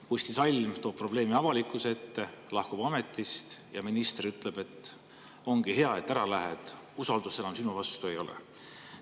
Kusti Salm toob probleemi avalikkuse ette ja lahkub ametist ning minister ütleb, et ongi hea, et ära lähed, usaldust sinu vastu enam ei ole.